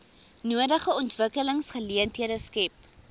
nodige ontwikkelingsgeleenthede skep